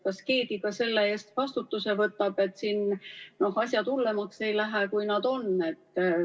Kas keegi ka selle eest vastutuse võtab, et siin asjad hullemaks ei lähe, kui nad on?